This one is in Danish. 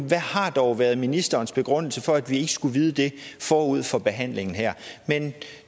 hvad har dog været ministerens begrundelse for at vi ikke skulle vide det forud for behandlingen her men